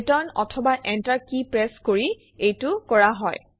return অথবা enter key press কৰি এইটো কৰা হয়